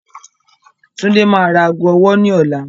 Tundé máa ra ago ọwọ́ ní ọ̀la.